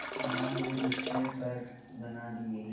मां ने उससे पर बना दिए